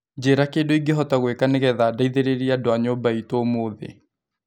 njĩira kindũ ĩngĩhota gũika ni ngetha ndeĩthereria andũ a nyũmba ĩtu ũmũthi